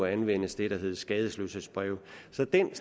anvendes det der hedder skadesløshedsbrev så den